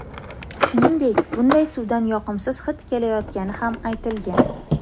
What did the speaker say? Shuningdek, bunday suvdan yoqimsiz hid kelayotgani ham aytilgan.